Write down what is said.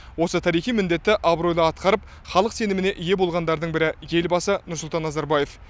осы тарихи міндетті абыройлы атқарып халық сеніміне ие болғандардың бірі елбасы нұрсұлтан назарбаев